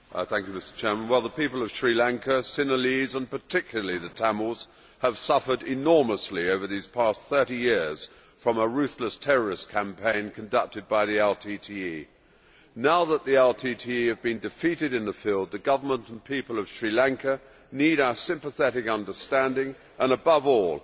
Mr President, the people of Sri Lanka Sinhalese and particularly the Tamils have suffered enormously over these past 30 years from a ruthless terrorist campaign conducted by the LTTE. Now that the LTTE have been defeated in the field, the Government and people of Sri Lanka need our sympathetic understanding and, above all,